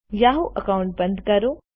Yahoo account બંદ કરો